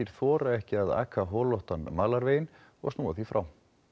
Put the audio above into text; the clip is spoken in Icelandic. þora ekki að aka holóttan malarveginn og snúa því frá